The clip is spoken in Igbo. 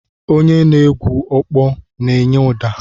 Onye na-egwu ọkpọ na-enye ụda.